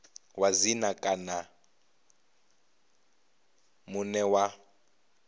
wa dzina kana muṋe wa